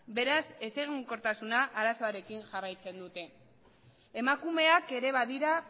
beraz ezegonkortasun arazoarekin jarraitzen dute emakumeak ere badira